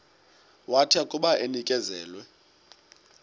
wathi akuba enikezelwe